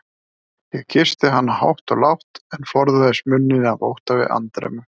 Ég kyssti hana hátt og lágt, en forðaðist munninn af ótta við andremmu.